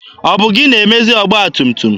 Ọ bụ gị na-emezi ọgba tum tum?